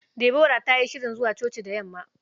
Deborah ta yi shirin zuwa coci da yamma.